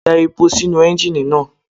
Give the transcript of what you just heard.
Da epo sínú Ẹ́njíníì náà.